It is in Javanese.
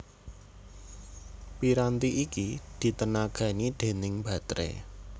Piranti iki ditenagani déning bateré